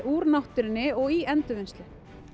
úr náttúrunni og í endurvinnslu